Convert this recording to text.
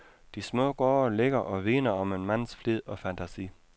De små gårde ligger og vidner om en mands flid og fantasi.